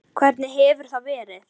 Hvernig hefur það verið?